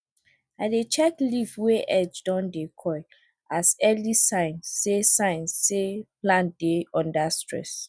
i dey check leaf wey edge don dey curl as early sign say sign say plant dey under stress